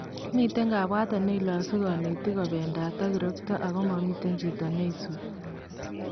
Miten kabwatet neilosu kanetiik kobendaat ak kirokto ako mamiten chito neisubii